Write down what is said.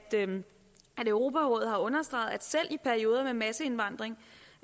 europarådet har understreget at selv i perioder med masseindvandring